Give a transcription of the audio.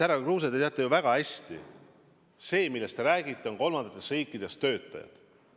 Härra Kruuse, te teate ju väga hästi, et need, kellest te räägite, on kolmandatest riikidest pärit töötajad.